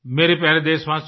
मेरे प्यारे देशवासियो